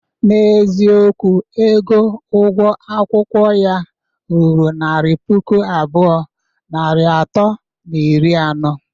N'eziokwu, ego ugwo akwụkwọ ya ruru naira puku abụọ, narị atọ na iri anọ.